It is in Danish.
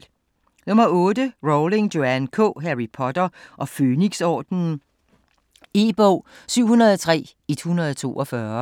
Rowling, Joanne K.: Harry Potter og Fønixordenen E-bog 703142